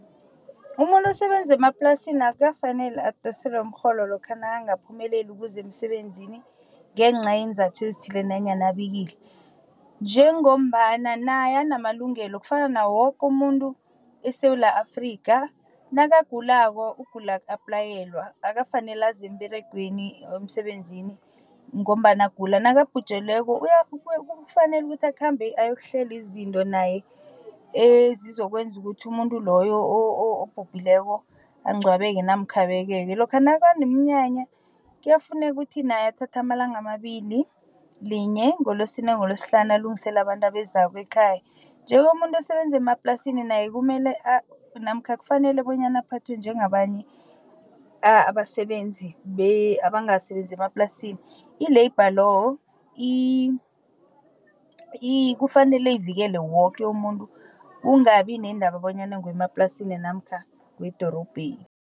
Umuntu osebenza emaplasini akukafaneli adoselwe umrholo lokha nakangakaphumeleli ukuza emsebenzini ngencayenzathu ezithileko nanyana abikile. Njengombana naye anamalungelo kufana nawo woke umuntu eSewula Afrika nakagulako ukugula aku-applayelwa akafaneli aze emsebenzini ngombana agula, nakabhujelweko ufanele ukuthi akhambe ayokuhlela izinto naye ezizokwenza ukuthi umuntu loyo obhubhileko angcwabeke namkha abekeke. Lokha nakuneminyanya kuyafuneka ukuthi naye athatha amalanga amabili linye ngoLosine, ngoLosihlanu alungiselele abantu abezako ekhaya. Nje-ke umuntu osebenza emaplasini naye kumele namkha kufanele bonyana aphathwe njengabanye abasebenzi abangasebenzi emaplasini. I-labour law kufanele ivikele woke umuntu kungabi neendaba bonyana ngemaplasini namkha wedorobheni.